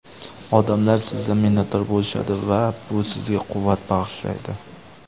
Odamlar sizdan minnatdor bo‘lishadi va bu sizga quvvat bag‘ishlaydi.